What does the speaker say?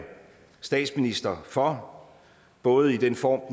statsminister for både i den form